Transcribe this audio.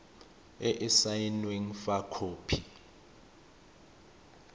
e e saenweng fa khopi